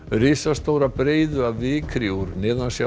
risastóra breiðu af vikri úr